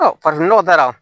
farafinnɔgɔ taara